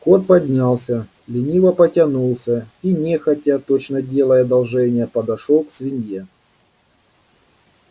кот поднялся лениво потянулся и нехотя точно делая одолжение подошёл к свинье